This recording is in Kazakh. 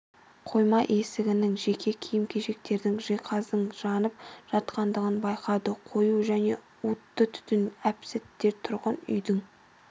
қойма есігінің жеке киім-кешектердің жиһаздың жанып жатқандығын байқады қою және уытты түтін әп-сәтте тұрғын үйдің